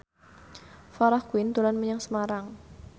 Farah Quinn dolan menyang Semarang